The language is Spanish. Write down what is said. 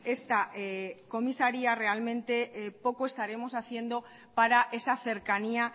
esta comisaría realmente poco estaremos haciendo para esa cercanía